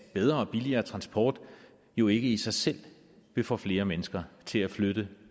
bedre og billigere transport jo ikke i sig selv vil få flere mennesker til at flytte